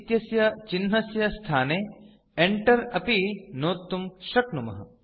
इत्यस्य चिह्नस्य स्थाने Enter अपि नोत्तुं शक्नुमः